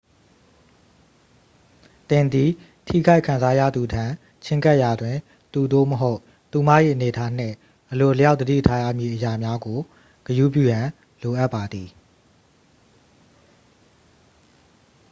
သင်သည် ထိခိုက်ခံစားရသူထံ ချဉ်းကပ်ရာတွင် သူ သို့မဟုတ် သူမ၏အနေအထားနှင့် အလိုအလျောက်သတိထားရမည့်အရာများကို ဂရုပြုရန်လိုအပ်ပါသည်